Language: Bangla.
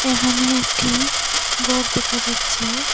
এখানে একটি ঘর দেখা যাচ্ছে।